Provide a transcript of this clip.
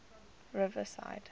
riverside